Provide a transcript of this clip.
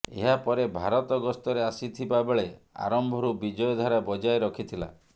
ଏହା ପରେ ଭାରତ ଗସ୍ତରେ ଆସି ଥିବା ବେଳେ ଆରମ୍ଭରୁ ବିଜୟ ଧାରା ବଜାୟ ରଖିଥିଲା